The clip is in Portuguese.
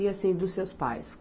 E assim, dos seus pais?